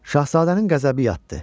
Şahzadənin qəzəbi yatdı.